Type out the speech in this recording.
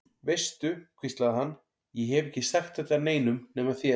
Veistu, hvíslaði hann, ég hef ekki sagt þetta neinum nema þér.